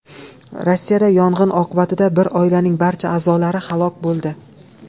Rossiyada yong‘in oqibatida bir oilaning barcha a’zolari halok bo‘ldi.